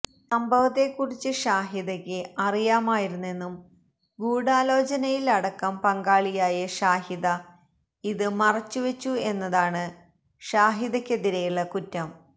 സംഭവത്തെ കുറിച്ച് ഷാഹിദയ്ക്ക് അറിയാമായിരുന്നെന്നും ഗൂഢാലോചനയിൽ അടക്കം പങ്കാളിയായ ഷാഹിദ ഇത് മറച്ചുവെച്ചു എന്നതാണ് ഷാഹിദക്കെതിരെയുള്ള കുറ്റം